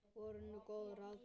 Voru nú góð ráð dýr.